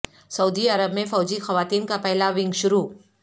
سعودی عرب میں فوجی خواتین کا پہلا ونگ شروع